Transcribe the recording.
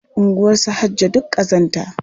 Unguwarsu Hajjo duk ƙazanta.